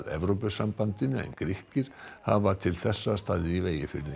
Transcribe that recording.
Evrópusambandinu en Grikkir hafa til þessa staðið í vegi fyrir því